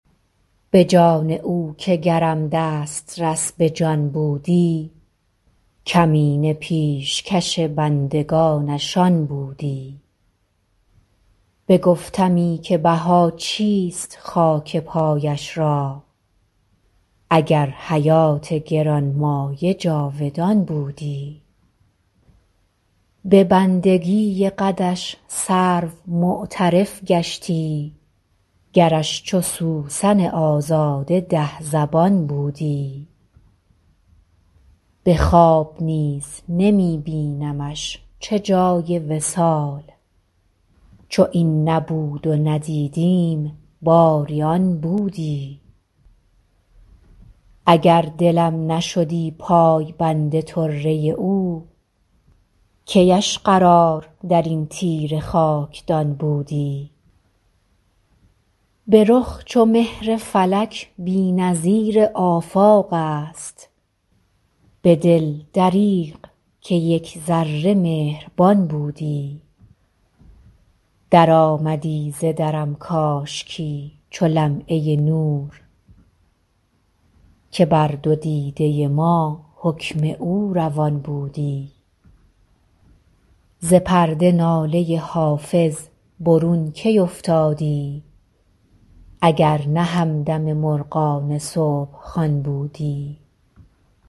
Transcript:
به جان او که گرم دسترس به جان بودی کمینه پیشکش بندگانش آن بودی بگفتمی که بها چیست خاک پایش را اگر حیات گران مایه جاودان بودی به بندگی قدش سرو معترف گشتی گرش چو سوسن آزاده ده زبان بودی به خواب نیز نمی بینمش چه جای وصال چو این نبود و ندیدیم باری آن بودی اگر دلم نشدی پایبند طره او کی اش قرار در این تیره خاکدان بودی به رخ چو مهر فلک بی نظیر آفاق است به دل دریغ که یک ذره مهربان بودی درآمدی ز درم کاشکی چو لمعه نور که بر دو دیده ما حکم او روان بودی ز پرده ناله حافظ برون کی افتادی اگر نه همدم مرغان صبح خوان بودی